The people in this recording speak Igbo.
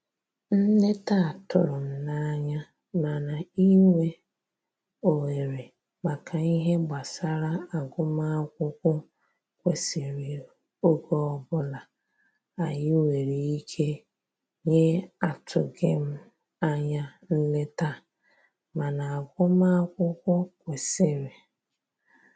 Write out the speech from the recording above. Nleta a tụrụ m n'anya, mana inwe ohere maka ihe gbasara agụmakwụkwọ kwesịrị oge ọbụla anyi nwere ike nyeAtụghim anya nleta a, mana agụmakwukwọ kwesiri oge ọbụla anyị nwere ike inye maka ya